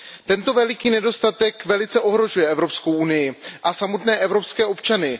Tento veliký nedostatek velice ohrožuje Evropskou unii a samotné evropské občany.